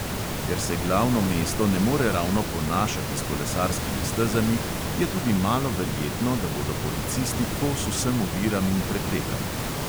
Ker se glavno mesto ne more ravno ponašati s kolesarskimi stezami, je tudi malo verjetno, da bodo policisti kos vsem oviram in preprekam.